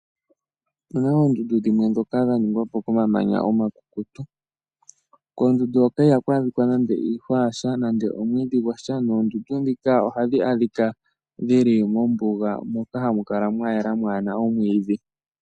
Opuna oondundu dhimwe ndhoka dha ningwapo koma manya omakukutu. Koondundu hoka ihaku adhika nande iihwa ya sha nande omwiidhi gwasha noondundu ndhika ohadhi adhika dhili mombuga moka hamu kala mwa yela mwaana omwiidhi.